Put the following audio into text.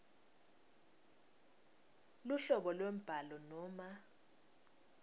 luhlobo lwembhalo noma